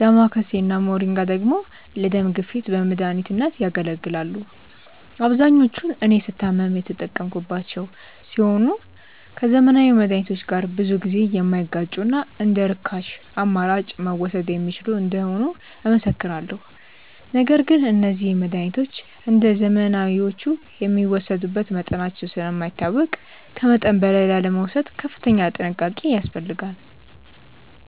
ዳማከሴ እና ሞሪንጋ ደግሞ ለደም ግፊት በመድኃኒትነት ያገለግላሉ። አብዛኞቹን እኔ ስታመም የተጠቀምኳቸው ሲሆን ከዘመናዊ መድሃኒቶች ጋር ብዙ ጊዜ የማይጋጩና እንደርካሽ አማራጭ መወሰድ የሚችሉ እንደሆኑ እመሰክራለሁ። ነገር ግን እነዚህ መድሃኒቶች እንደዘመናዊዎቹ የሚወሰዱበት መጠናቸው ስለማይታወቅ ከመጠን በላይ ላለመውሰድ ከፍተኛ ጥንቃቄ ያስፈልጋል።